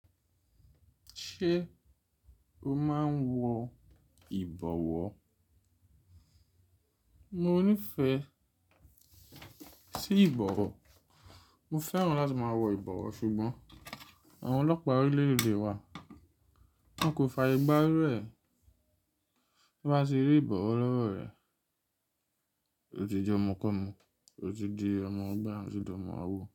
Ṣé o máa ń wọ ìbọ̀wọ́? Mo nífẹ̀ẹ́ sí ìbòwò Mo fẹ́ràn láti máa wọ ìbọ̀wọ́ ṣùgbọ́n àwọn ọlọ́pàá orílẹ̀-èdè wa, wọn kò fàyè gbà irú ẹ, tán bá ti rí ìbọ̀wọ́ lọ́wọ́ rẹ̀. Ó ti jẹ́ ọmọkọ́mọ, ó ti di ọmọ gbá, ó ti di ọmọ àwo.